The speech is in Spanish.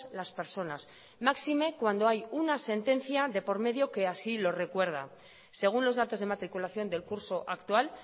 las personas máxime cuando hay una sentencia de por medio que así lo recuerda según los datos de matriculación del curso actual